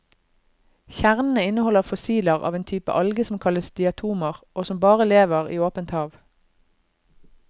Kjernene inneholder fossiler av en type alge som kalles diatomer og som bare lever i åpent hav.